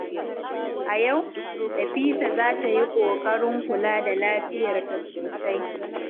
A yau, Nafisa za ta yi ƙoƙarin kula da lafiyarta sosai.